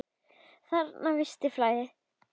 Þarna er visst flæði.